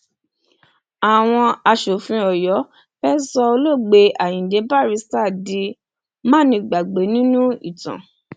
àwọn aṣòfin ọyọ fẹẹ sọ olóògbé ayíǹde barrister di mánigbàgbé nínú ìtàn